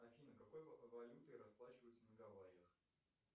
афина какой валютой расплачиваются на гавайях